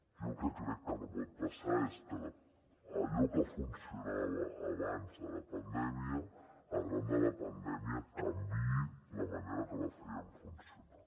jo el que crec que no pot passar és que allò que funcionava abans de la pandèmia arran de la pandèmia canviï la manera que ho feien funcionar